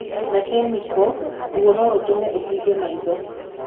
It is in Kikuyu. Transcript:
Na kemiko, ruo no rũtũme ũhinge maitho.